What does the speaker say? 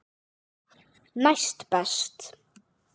Næst best.